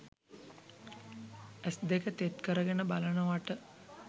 ඇස් දෙක තෙත් කරගෙන බලනවට?